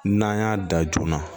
N'an y'a da joona